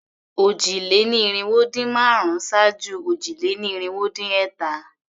Òjì-lé-ní-irinwó-dín-márùn-ún ṣáájú òjì-lé-ní-irinwó-dín-ẹ̀ta.